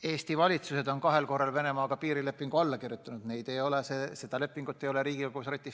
Eesti valitsus on kahel korral Venemaaga piirilepingu alla kirjutanud, aga leping on jäänud jõustumata.